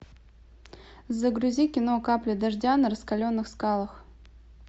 загрузи кино капли дождя на раскаленных скалах